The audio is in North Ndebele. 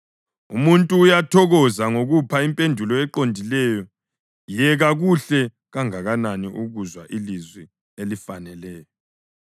Umuntu uyathokoza ngokupha impendulo eqondileyo yeka kuhle kangakanani ukuzwa ilizwi elifaneleyo!